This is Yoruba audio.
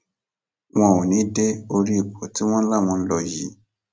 wọn ò ní í dé orí ipò tí wọn láwọn ń lò yìí